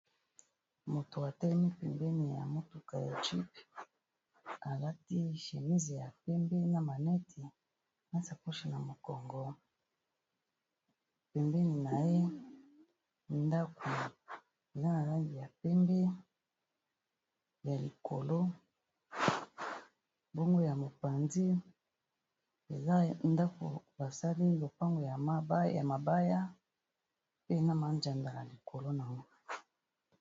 Moto a telemi pembeni ya motuka ya jeep a lati chemise ya pembe na maneti na sacoche na mokongo, pembeni na ye ndaku eza na langi ya pembe ya likolo bongo ya mopanzi eza ndako basali lopango ya mabaya pe na mazanza likolo na ye .